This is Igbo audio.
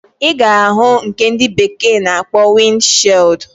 Iga ahu nke ndi bekee na akpo wind shield.